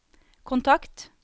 kontakt